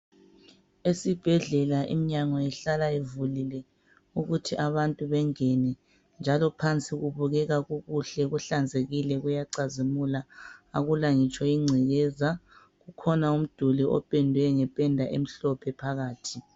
Esibhedlela iminyango ihlala ivulile ukuthi abantu bengene njalo phansi kubukeka kukuhle kuhlanzekile kuyacazimula akula ngitsho ingcekeza. Kukhona umduli opendwe ngependa emhlophe phakathi.